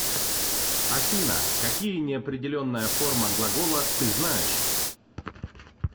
афина какие неопределенная форма глагола ты знаешь